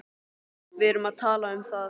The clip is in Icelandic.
Við erum að tala um það!